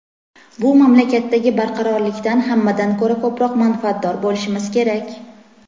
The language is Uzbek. bu mamlakatdagi barqarorlikdan hammadan ko‘ra ko‘proq manfaatdor bo‘lishimiz kerak.